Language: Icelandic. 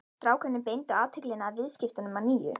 Strákarnir beindu athyglinni að viðskiptunum að nýju.